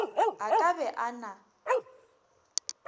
a ka be a na